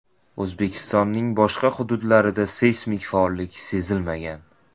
O‘zbekistonning boshqa hududlarida seysmik faollik sezilmagan.